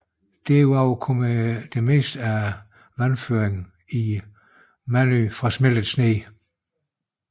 Derud over kommer hovedparten af vandføringen i Manytj fra smeltet sne